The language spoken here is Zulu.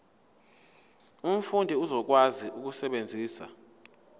umfundi uzokwazi ukusebenzisa